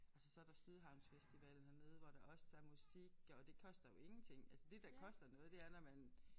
Altså så der Sydhavnsfestivalen hernede hvor der også er musik og det koster jo ingenting altså det der koster noget det er når man